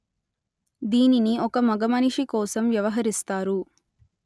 దీనిని ఒక మగమనిషి కోసం వ్యవహరిస్తారు